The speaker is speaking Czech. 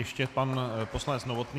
Ještě pan poslanec Novotný.